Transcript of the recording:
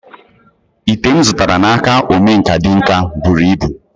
Ite m zụtara n'aka omenkà tinka buru ibu